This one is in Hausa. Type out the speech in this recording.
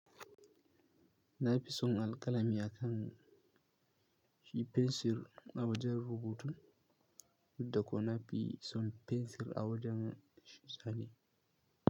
Na fi son alƙalami akan shi fensir a wajen rubutu, yadda kuma na fi son fensir a wajen shi zane.